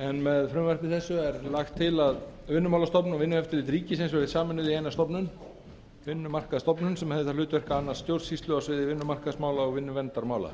en með frumvarpi þessu er lagt til að vinnumálastofnun og vinnueftirlit ríkisins verði sameinuð í eina stofnun vinnumarkaðsstofnun sem hefur það hlutverk að annast stjórnsýslu á sviði vinnumarkaðsmála og vinnuverndarmála